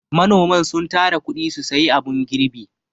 Manoman sun tara kuɗi su sayi abun girbi.